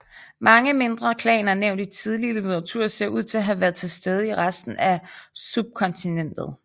Mange mindre klaner nævnt i tidlig litteratur ser ud til at have været til stede i resten af subkontinentet